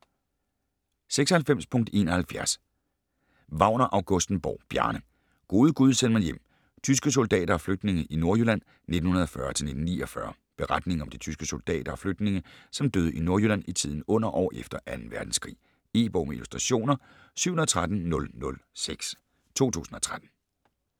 96.71 Wagner-Augustenborg, Bjarne: Gode gud, send mig hjem: tyske soldater og flygtninge i Nordjylland 1940-1949 Beretningen om de tyske soldater og flygtninge som døde i Nordjylland i tiden under og efter 2. verdenskrig. E-bog med illustrationer 713006 2013.